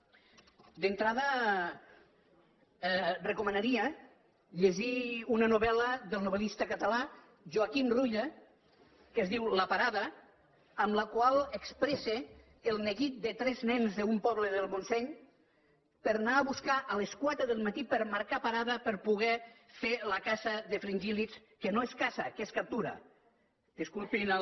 d’entrada recomanaria llegir una novel·la del novellista català joaquim ruyra que es diu la parada amb la qual expressa el neguit de tres nens d’un poble del montseny per anar a buscar a les quatre del matí per marcar parada per poder fer la caça de fringíl·lids que no és caça que és captura disculpin el